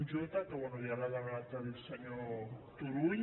j que bé ja l’ha demanat el senyor turull